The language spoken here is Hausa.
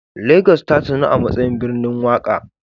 Lagos tasanu amatsayin birnin waƙa